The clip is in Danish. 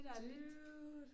Dude!